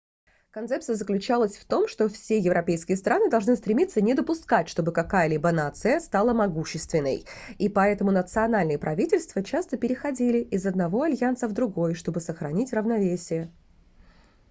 концепция заключалась в том что все европейские страны должны стремиться не допускать чтобы какая-либо нация стала могущественной и поэтому национальные правительства часто переходили из одного альянса в другой чтобы сохранить равновесие